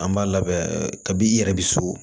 An b'a labɛn kabi i yɛrɛ bi so